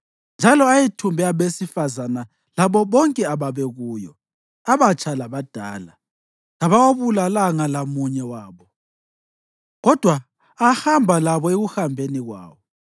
njalo ayethumbe abesifazane labo bonke ababekuyo, abatsha labadala. Kawabulalanga lamunye wabo, kodwa ahamba labo ekuhambeni kwawo.